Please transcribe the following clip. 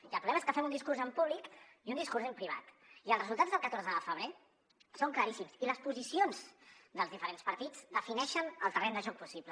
i el problema és que fem un discurs en públic i un discurs en privat i els resultats del catorze de febrer són claríssims i les posicions dels diferents partits defineixen el terreny de joc possible